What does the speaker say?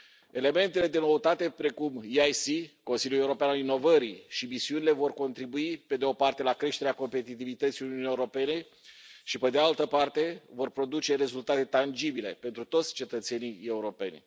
Elementele de noutate precum EIC Consiliul european al inovării și misiunile vor contribui, pe de o parte, la creșterea competitivității Uniunii Europene și, pe de altă parte, vor produce rezultate tangibile pentru toți cetățenii europeni.